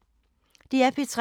DR P3